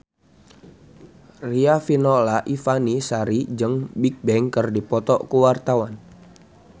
Riafinola Ifani Sari jeung Bigbang keur dipoto ku wartawan